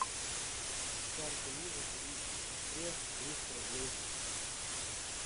с карты виза перевести сестре триста рублей